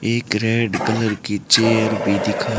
एक red colour की chair भी दिखा--